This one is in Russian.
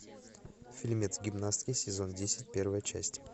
фильмец гимнастки сезон десять первая часть